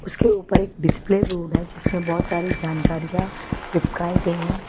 इसके ऊपर एक डिस्प्ले बोर्ड है जिसमें बहुत सारी जानकारियां चिपकाई गई है।